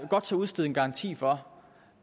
godt tør udstede en garanti for